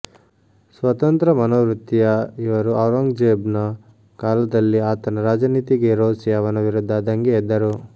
ಸ್ವತಂತ್ರ ಮನೋವೃತ್ತಿಯ ಇವರು ಔರಂಗ್ಜೇಬನ ಕಾಲದಲ್ಲಿ ಆತನ ರಾಜನೀತಿಗೆ ರೋಸಿ ಅವನ ವಿರುದ್ಧ ದಂಗೆ ಎದ್ದರು